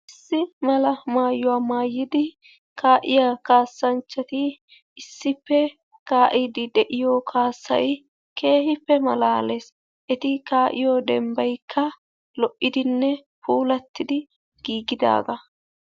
Issi mala mayuwaa maayidi ka"iyaa kasanchaatti issippe ka"iidi de'iyoo kaassay keehppe malaalees. eeti ka'iyoo dembaykka lo"idinne puullatiidi gigidaagaa.